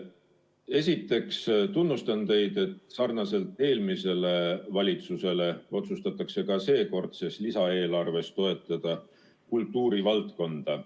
Esiteks tunnustan teid, et sarnaselt eelmise valitsusega otsustab ka seekordne valitsus toetada lisaeelarves kultuurivaldkonda.